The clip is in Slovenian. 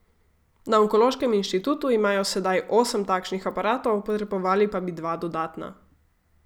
Na onkološkem inštitutu imajo sedaj osem takšnih aparatov, potrebovali pa bi dva dodatna.